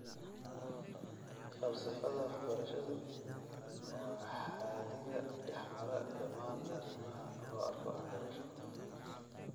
Falsafadda waxbarashadu waa xadhigga dhex mara dhammaan arrimaha loo arko waxbarasho.